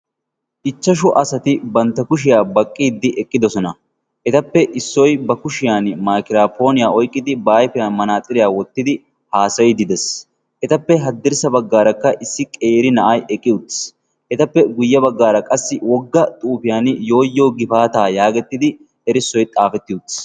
ichchashu asati bantta kushiyaa baqqiiddi eqqidosona. etappe issoy ba kushiyan maakiraapooniyaa oyqqidi ba aifiyan manaaxiriyaa wottidi haasayiddi dees. Etappe haddirssa baggaarakka issi qeeri na'ay eqqi uttis. etappe guyye baggaara qassi wogga xuufiyan yooyyo gifaataa yaagettidi erissoy xaafetti uttis.